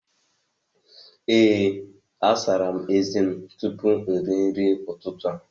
Ee, agara m ezé tupu m erie nri ụtụtụ a.